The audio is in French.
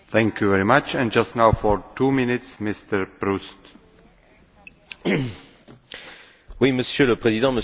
Monsieur le Président, Monsieur le Commissaire, les règles d'origine non préférentielles sont déterminantes pour la compétitivité de nos entreprises.